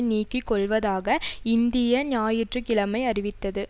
நீக்கி கொள்வதாக இந்திய ஞாயிற்று கிழமை அறிவித்தது